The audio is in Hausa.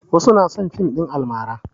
Wasu na son fim ɗin almara.